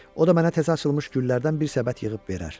O da mənə təzə açılmış güllərdən bir səbət yığıb verər.